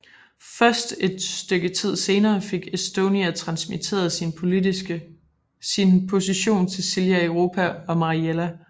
Først et stykke tid senere fik Estonia transmitteret sin position til Silja Europa og Mariella